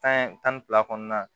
Tan tan ni fila kɔnɔna na